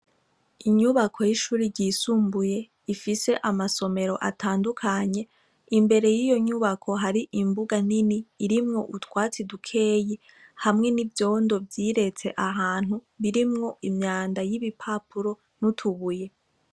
Inyubako y' ishure y' isumbuye, ifis' amasomer' atandukanye, imbere yiyo nyubako har' imbuga nin' irimw' utwatsi dukeya hamwe n' ivyondo vyirets' ahantu birimw' imyanda y' ibipapuro n' utubuye, inyubak' isiz' irangi ry' umuhondo, ifise n' amadirisha n' imiryango bis' ubururu, hejuru har' ibicu vyera n' ivyubururu.